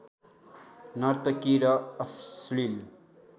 नर्तकी र अश्लील